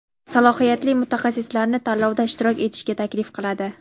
salohiyatli mutaxassislarni tanlovda ishtirok etishga taklif qiladi.